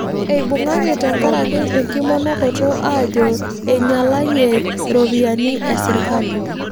Eibung'aki tenkiraki enkimonokoto aajo einyalayie iropiyiani esirkali